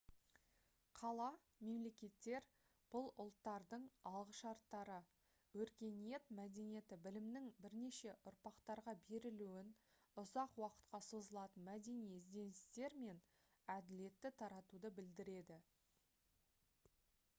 қала-мемлекеттер бұл ұлттардың алғышарттары өркениет мәдениеті білімнің бірнеше ұрпақтарға берілуін ұзақ уақытқа созылатын мәдени ізденістер мен әділетті таратуды білдіреді